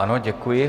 Ano, děkuji.